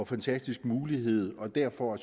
fantastisk mulighed og derfor